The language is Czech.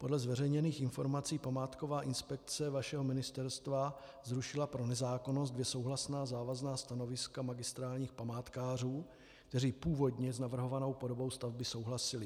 Podle zveřejněných informací památková inspekce vašeho ministerstva zrušila pro nezákonnost dvě souhlasná závazná stanoviska magistrátních památkářů, kteří původně s navrhovanou podobou stavby souhlasili.